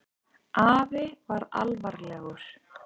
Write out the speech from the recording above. Afi var alvarlegur.